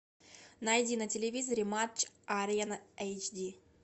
найди на телевизоре матч арена эйч ди